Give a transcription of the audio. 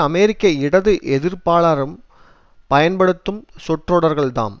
அமெரிக்க இடது எதிர்ப்பாளரும் பயன்படுத்தும் சொற்றொடர்கள்தாம்